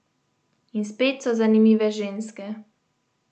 In spet so zanimive ženske.